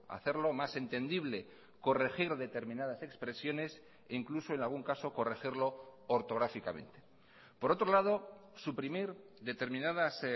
hacerlo más entendible corregir determinadas expresiones e incluso en algún caso corregirlo ortográficamente por otro lado suprimir determinadas